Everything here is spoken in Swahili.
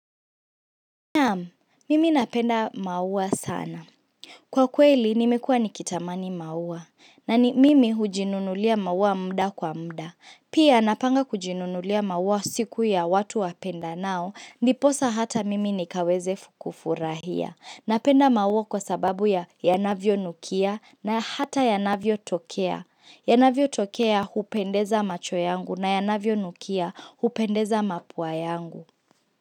Naam, mimi napenda maua sana. Kwa kweli, nimekuwa nikitamani maua. Na ni mimi hujinunulia maua muda kwa muda. Pia napanga kujinunulia maua siku ya watu wapendanao, ndiposa hata mimi nikaweze kufurahia. Napenda maua kwa sababu ya yanavyonukia na hata yanavyotokea. Yanavyotokea hupendeza macho yangu na yanavyonukia hupendeza mapua yangu.